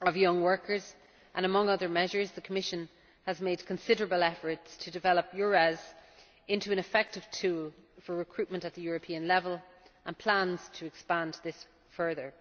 of young workers, and among other measures, the Commission has made considerable efforts to develop EURES into an effective tool for recruitment at European level, and plans to expand this further.